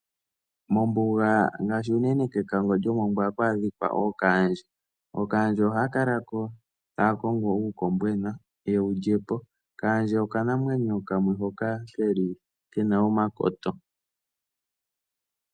Mombuga ngaashi unene kekango lyomongwa oha ku adhika ookaandje. Ookaandje ohaya kala ko ta ya kongo uukombwena ye wu lye po. Kaandje okanamwenyo kamwe hoka ke li ke na omakoto.